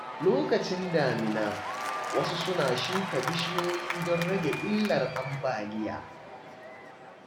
Lokacin damina, wasu suna shuka bishiyoyi don rage illar ambaliya.